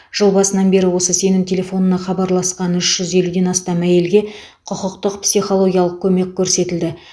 жыл басынан бері осы сенім телефонына хабарласқан үш жүз елуден астам әйелге құқықтық психологиялық көмек көрсетілді